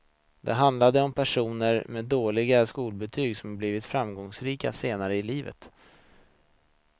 Det handlade om personer med dåliga skolbetyg som blivit framgångsrika senare i livet.